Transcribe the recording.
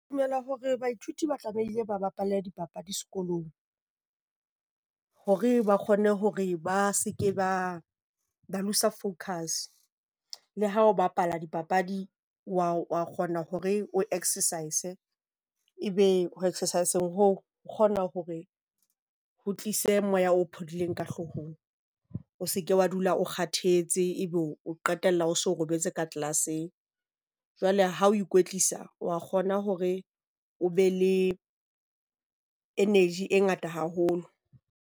Ke dumela hore baithuti ba tlamehile ba bapale dipapadi sekolong, hore ba kgone hore ba se ke ba loose-a focus. Le ha o bapala dipapadi wa kgona hore o exercise, e be o exercise-ng hoo o kgona hore ho tlise moya o phodileng ka hloohong. O se ke wa dula o kgathetse, ebe o qetella o so robetse ka class-eng. Jwale ha o ikwetlisa wa kgona hore o be le energy e ngata haholo.